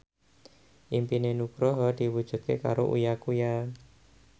impine Nugroho diwujudke karo Uya Kuya